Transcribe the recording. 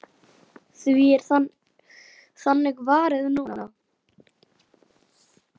Því er þannig varið núna.